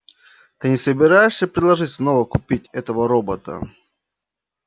ты не собираешься предложить снова купить этого робота